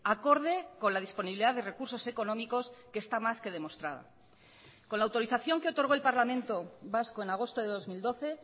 acorde con la disponibilidad de recursos económicos que está más que demostrada con la autorización que otorgó el parlamento vasco en agosto de dos mil doce